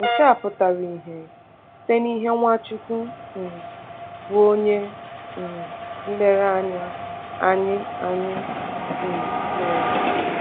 Nke a pụtara ìhè site n’ihe Nwachukwu um bụ́ Onye um Nlereanya Anyị Anyị um mere.